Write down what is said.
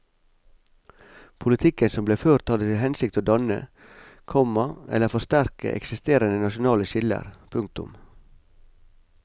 Politikken som ble ført hadde til hensikt å danne, komma eller forsterke eksisterende nasjonale skiller. punktum